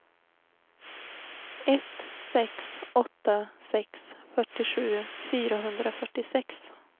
ett sex åtta sex fyrtiosju fyrahundrafyrtiosex